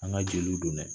An ka jeliw don dɛ